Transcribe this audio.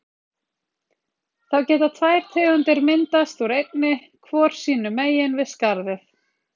Þá geta tvær tegundir myndast úr einni, hvor sínum megin við skarðið.